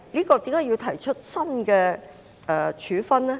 為何要訂定新的處分呢？